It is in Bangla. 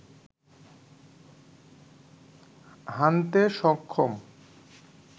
হানতে সক্ষম